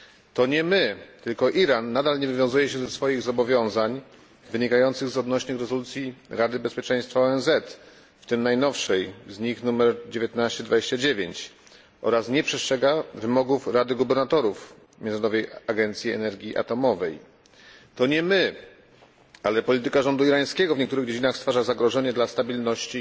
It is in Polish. To nie my, tylko Iran nadal nie wywiązuje się ze swoich zobowiązań wynikających z odnośnych rezolucji Rady Bezpieczeństwa ONZ, w tym najnowszej z nich nr 1929, oraz nie przestrzega wymogów Rady Gubernatorów Międzynarodowej Agencji Energii Atomowej. To nie my, ale polityka irańskiego rządu w niektórych dziedzinach stwarza zagrożenie dla stabilności